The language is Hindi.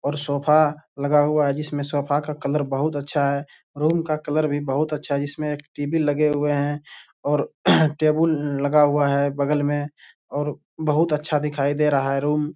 और सोफ़ा लगा हुआ है जिसमें सोफ़ा का कलर बहुत अच्छा है। रूम का कलर भी बहुत अच्छा है जिसमें एक टी.वी. लगे हुए हैं और टेबुल लगा हुआ है बगल में और बहुत अच्छा दिखाई दे रहा है रूम ।